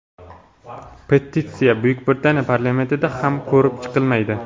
Petitsiya Buyuk Britaniya parlamentida ham ko‘rib chiqilmaydi.